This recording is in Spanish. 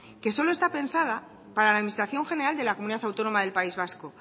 que solo está pensada para la administración general de la comunidad autónoma del país vasco